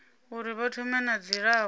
uri vha thome na dzilafho